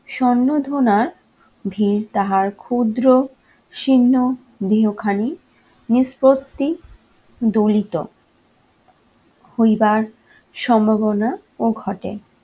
স্বর্ণ সন্মধনার ভিড় তাহার ক্ষুদ্র, শীর্ণ দেহখানি নিষ্পত্তি দলিত হইবার সম্ভাবনাও ঘটে।